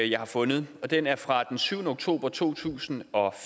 jeg har fundet den er fra syvende oktober to tusind og